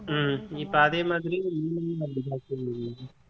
உம் இப்ப அதே மாதிரி